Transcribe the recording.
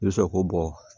I bɛ sɔrɔ k'o bɔ